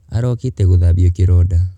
Arokĩte kũthabio kĩronda.